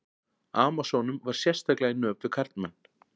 Amasónum var sérstaklega í nöp við karlmenn.